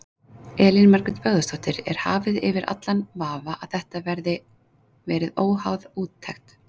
Elín Margrét Böðvarsdóttir: Er hafið yfir allan vafa að þetta verið óháð úttekt?